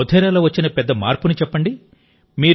మోధేరాలో వచ్చిన పెద్ద మార్పును చెప్పండి